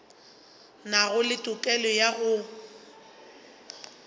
nago le tokelo ya go